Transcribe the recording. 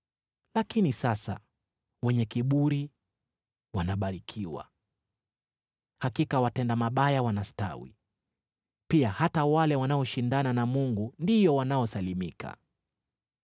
Lakini sasa wenye kiburi wanabarikiwa. Hakika watenda mabaya wanastawi, pia hata wale wanaoshindana na Mungu ndio wanaosalimika.’ ”